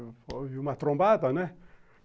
Houve uma trombada, né?